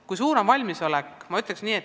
Kui suur on valmisolek?